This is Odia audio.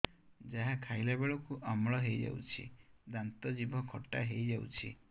ଯାହା ଖାଇଲା ବେଳକୁ ଅମ୍ଳ ହେଇଯାଉଛି ଦାନ୍ତ ଜିଭ ଖଟା ହେଇଯାଉଛି